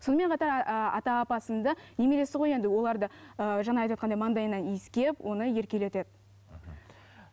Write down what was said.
сонымен қатар ыыы ата апасының да немересі ғой енді олар да ыыы жаңа айтыватқандай маңдайынан иіскеп оны еркелетеді мхм